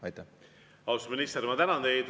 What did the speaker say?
Austatud minister, ma tänan teid!